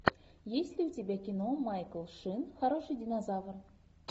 есть ли у тебя кино майкл шин хороший динозавр